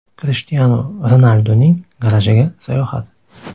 Krishtianu Ronalduning garajiga sayohat !